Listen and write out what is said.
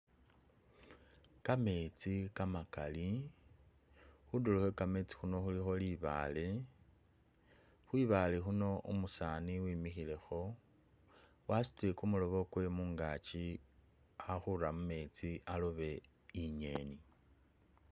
Kametsi kamakaali, khundulo khwe kametsi khuuno khulikho libaale, khwibaale khuuno umusani wemikhilekho wasutile kumulobo kwewe mungaaki alikhura mumetsi alobe i'ngeni